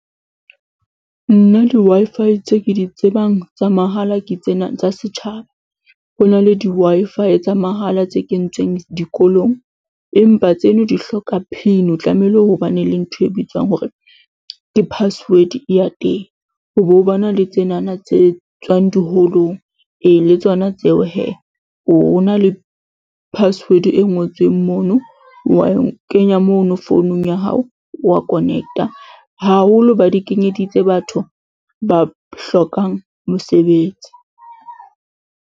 Nna di Wi-Fi tse ke di tsebang tsa mahala ke tsena tsa setjhaba. Ho na le di Wi-Fi tsa mahala tse kentsweng dikolong empa tseno di hloka PIN. O tlamehile o bane le ntho e bitswang hore ke password ya teng. Ho bo bana le tsenana tse tswang diholong, ee, le tsona tseo hee ho bo na le password e ngotsweng mono, wa e kenya mono founung ya hao, wa connect-a. Haholo ba di kenyeditse batho ba hlokang mosebetsi.